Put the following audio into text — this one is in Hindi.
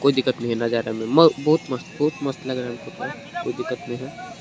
नजारा में बहुत मस्त बहुत मस्त लग रहा है कोई दिक्कत नही है।